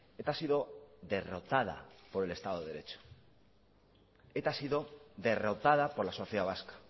eta ha sido derrotada por el estado de derecho eta ha sido derrotada por la sociedad vasca